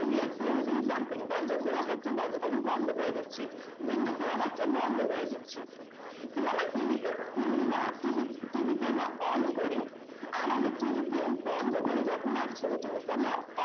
you are closing something দরজা খোলা থাকলে দরজাটাকে বন্ধ করে দিচ্ছি window খোলা থাকছে কিন্তু আমরা টিভিকে খুলিনা টিভিকে আমরা on করি তখন টিভিকে আমরা off করি।